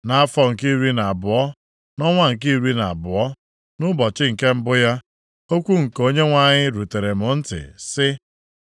Nʼafọ nke iri na abụọ, nʼọnwa nke iri na abụọ, nʼụbọchị nke mbụ ya, okwu nke Onyenwe anyị rutere m ntị, sị,